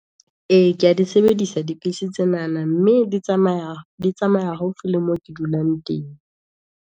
E ke ya di sebedisa tsenana, mme di tsamaya haufi le mo ke dulang teng.